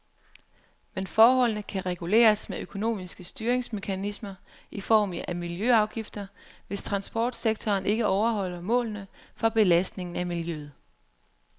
Men forholdene kan reguleres med økonomiske styringsmekanismer i form af miljøafgifter, hvis transportsektoren ikke overholder målene for belastningen af miljøet.